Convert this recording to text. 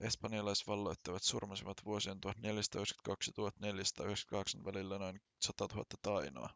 espanjalaisvalloittajat surmasivat vuosien 1492 ja 1498 välillä noin 100 000 tainoa